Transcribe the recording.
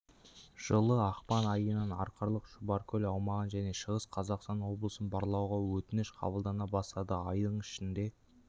жылы ақпан айынан арқалық-шұбаркөл аумағын және шығыс қазақстан облысын барлауға өтініш қабылдана бастады айдың ішінде